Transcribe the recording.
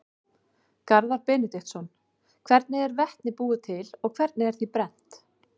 Garðar Benediktsson: Hvernig er vetni búið til og hvernig er því brennt?